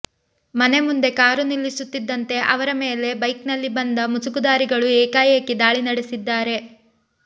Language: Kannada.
ಮನೆ ಮುಂದೆ ಕಾರು ನಿಲ್ಲಿಸುತ್ತಿದ್ದಂತೆ ಅವರ ಮೇಲೆ ಬೈಕ್ನಲ್ಲಿ ಬಂದ ಮುಸುಕುಧಾರಿಗಳು ಏಕಾಏಕಿ ದಾಳಿ ನಡೆಸಿದ್ದಾರೆ